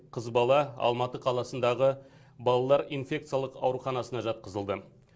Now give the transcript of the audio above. қыз бала алматы қаласындағы балалар инфекциялық аурханасына жатқызылды